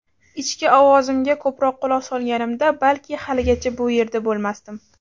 ichki ovozimga ko‘proq quloq solganimda balki haligacha bu yerda bo‘lmasdim.